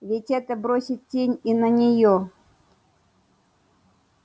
ведь это бросит тень и на неё